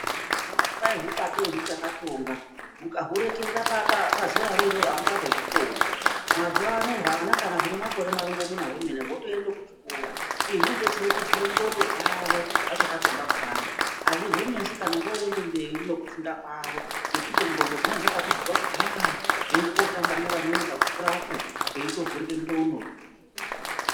Vanoti kwai hubatei huchakatsonga mukahurekerera pazeraro iroro hamuchazohukoni. Mazuva ano hwana kana hune makore marongomuna hwemene hotoende kuchikora. izvi zvinobetsere kuvhura ndxondo dzavo vachaka tsonga kudaro hazvizo netsi kana voende mberi nekufunda kwavo ngekuti ndxondo dzinenge dzakatovhurwa kudhaya. Voende kotamba nevamweni poakukurapo veitovhurike ndxondo.